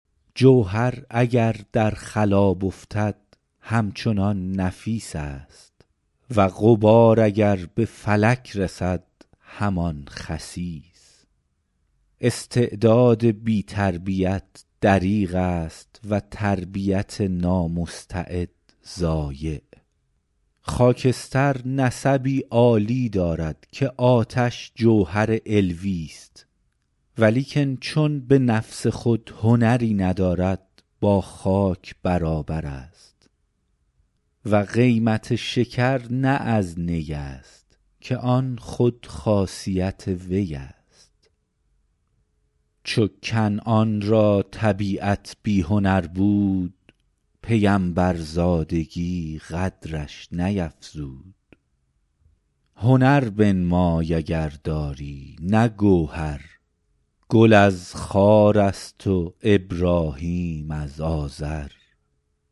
جوهر اگر در خلاب افتد همچنان نفیس است و غبار اگر به فلک رسد همان خسیس استعداد بی تربیت دریغ است و تربیت نامستعد ضایع خاکستر نسبی عالی دارد که آتش جوهر علویست ولیکن چون به نفس خود هنری ندارد با خاک برابر است و قیمت شکر نه از نی است که آن خود خاصیت وی است چو کنعان را طبیعت بی هنر بود پیمبرزادگی قدرش نیفزود هنر بنمای اگر داری نه گوهر گل از خار است و ابراهیم از آزر